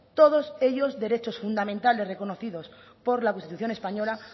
todos ellos derechos fundamentales reconocidos por la constitución española